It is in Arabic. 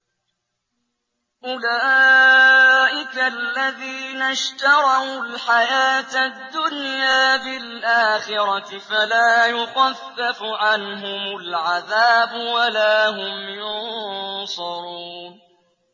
أُولَٰئِكَ الَّذِينَ اشْتَرَوُا الْحَيَاةَ الدُّنْيَا بِالْآخِرَةِ ۖ فَلَا يُخَفَّفُ عَنْهُمُ الْعَذَابُ وَلَا هُمْ يُنصَرُونَ